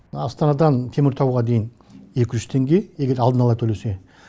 астанадан теміртауға дейін екі жүз теңге егер алдын ала төлесе